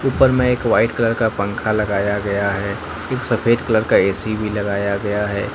ऊपर में एक व्हाइट कलर का पंखा लगाया गया है एक सफेद कलर का ए_सी भी लगाया गया है।